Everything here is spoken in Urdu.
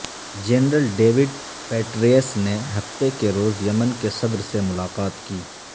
جنرل ڈیوڈ پیٹرئیس نے ہفتے کے روز یمن کے صدر سے ملاقات کی